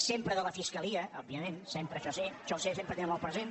sempre de la fiscalia òbvia ment sempre això sí això sempre ho té molt present